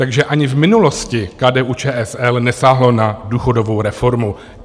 Takže ani v minulosti KDU-ČSL nesáhlo na důchodovou reformu.